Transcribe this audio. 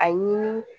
A ɲini